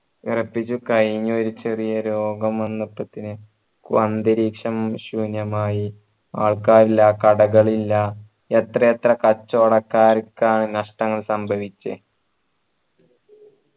വിറപ്പിച്ചു കഴിനു ഒരു ചെറിയ രോഗം വന്നത്തപ്പിന് അന്തരീക്ഷം ശൂന്യമായി ആൾക്കാറില്ല കടകളില്ല എത്തയെത്ര കച്ചോടകാരക്ക നഷ്ടങ്ങൾ സംഭവിച്ചേ